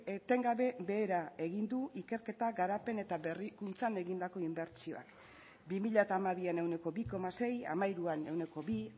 etengabe behera egin du ikerketa garapen eta berrikuntzan egindako inbertsioak bi mila hamabian ehuneko bi koma sei hamairuan ehuneko bi